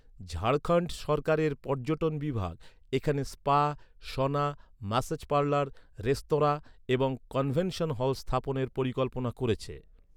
ঝাড়খণ্ড সরকারের পর্যটন বিভাগ এখানে spa, sauna, massage parlour, restaurant এবং কনভেনশন হল স্থাপনের পরিকল্পনা করেছে।